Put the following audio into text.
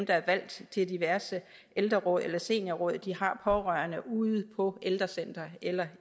der er valgt til diverse ældreråd eller seniorråd har pårørende ude på ældrecentre eller